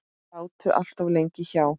Sátu allt of lengi hjá.